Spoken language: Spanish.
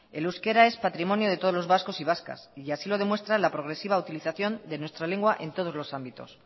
el euskera es patrimonio de todos los vascos y vascas y así lo demuestra la progresiva utilización de nuestra lengua en todos los ámbitos